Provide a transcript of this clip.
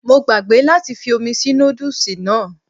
Mo gbàgbé láti fi omi sí nódùsì náà